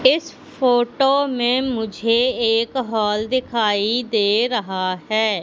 इस फोटो में मुझे एक हॉल दिखाई दे रहा है।